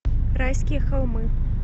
райские холмы